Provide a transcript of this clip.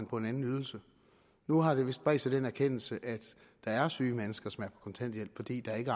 på en anden ydelse nu har der vist bredt sig den erkendelse at der er syge mennesker som er på kontanthjælp fordi der ikke